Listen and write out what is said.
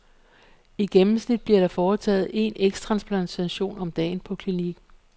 I gennemsnit bliver der foretaget en ægtransplantation om dagen på klinikken.